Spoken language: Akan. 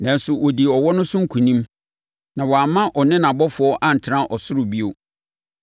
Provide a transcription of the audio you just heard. Nanso, wɔdii ɔwɔ no so nkonim na wɔamma ɔne nʼabɔfoɔ antena ɔsoro bio.